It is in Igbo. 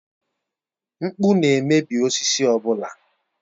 Mkpụ na-emebi osisi ọ bụla.